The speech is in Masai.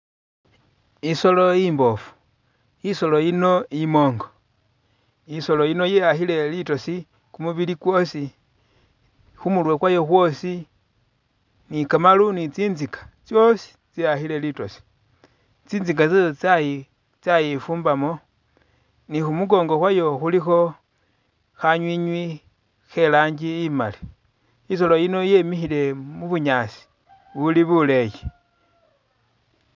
Isolo imboofu isolo yino imonko isolo yino yeyakhile litoosi kumubili kwosi, khumurwe kwayo khwosi ni kamaru ni tsintsika tsosi tseyakhile litoosi tsintsika tsayo tsayi tsayifumbamo ni khumukongo khwayo khulikho khanywinywi kheranji imaali isolo yino yemikhile mubunyaasi buli buleeyi.